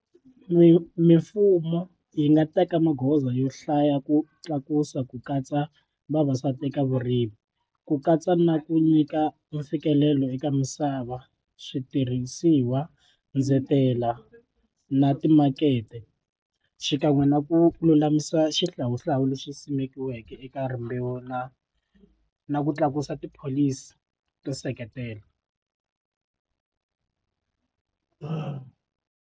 Mi mimfumo yi nga teka magoza yo hlaya ku tlakusa ku katsa vavasati eka vurimi ku katsa na ku nyika mfikelelo eka misava switirhisiwa ndzetela na timakete xikan'we na ku lulamisa xihlawuhlawu lexi simekiweke eka rimbewu na na ku tlakusa tipholisi to seketela.